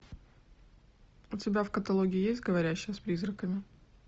у тебя в каталоге есть говорящая с призраками